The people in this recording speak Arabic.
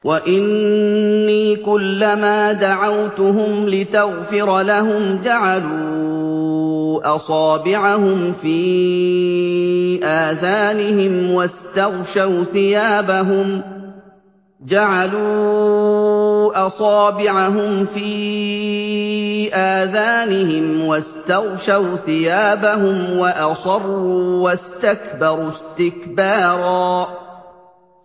وَإِنِّي كُلَّمَا دَعَوْتُهُمْ لِتَغْفِرَ لَهُمْ جَعَلُوا أَصَابِعَهُمْ فِي آذَانِهِمْ وَاسْتَغْشَوْا ثِيَابَهُمْ وَأَصَرُّوا وَاسْتَكْبَرُوا اسْتِكْبَارًا